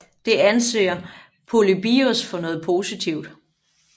Det anser Polybios for noget positivt